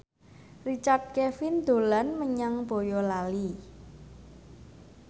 Richard Kevin dolan menyang Boyolali